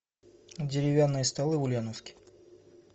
деревянные столы в ульяновске